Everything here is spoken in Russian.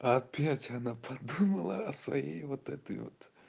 опять она подумала о своей вот этой вот